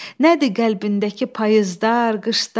Nədir qəlbindəki payızlar, qışlar?